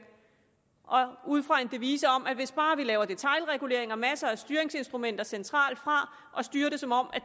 ud fra en devise om at hvis bare man laver detailregulering og masser af styringsinstrumenter centralt fra og styrer det som om